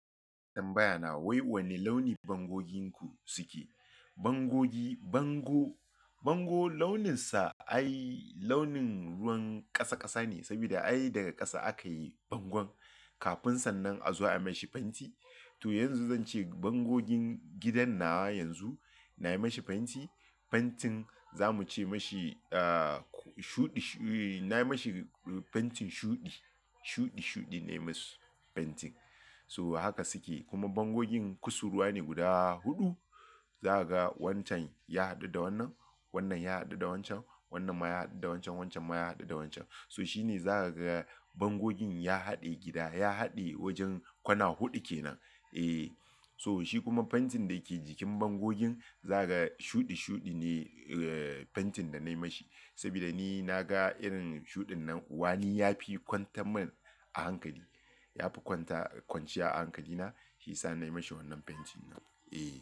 Tanbaya na wai wanne launi bangoginku suke? Bangogi, bango, bango launinsa ai launin ruwan ƙasa ƙasa ne. Saboda ai daga ƙasa akayi bangon. Kafin sannan a zo ayi mashi fenti. To yanzu zance bangogin gidan nawa yanzu nayi mashi fenti. Fentin zamu ce mashi, ah, shuɗi, nayi mashi fentin shuɗi. Shuɗi shuɗi nayi masu fentin. So haka suke kuma bangogin kusurwa ne guda huɗu. Za ka ga wancan ya haɗu da wannan, wannan ya haɗu da wancan, wannan ma ya haɗu da wancan, wancan ma ya haɗu da wancan. So shine za ka ga bangogin ya haɗe gida, ya haɗe wajen kwana huɗu kenan. Eh, so shi kuma fentin dake jikin bangogin za ka ga shuɗi shuɗi ne fentin da nayi mashi. Saboda ni naga irin shuɗin nan uwa ni yafi kwantar min a hankali. Yafi kwanta kwanciya a hankali na, shiyasa nayi mashi wannan fentin. Eh.